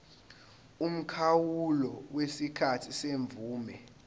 umkhawulo wesikhathi semvume